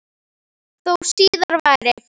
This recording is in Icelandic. Þó síðar væri.